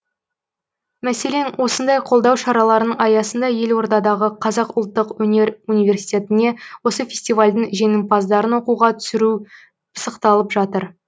мәселен осындай қолдау шараларының аясында елордадағы қазақ ұлттық өнер университетіне осы фестивальдің жеңімпаздарын оқуға түсіру пысықталып жатыр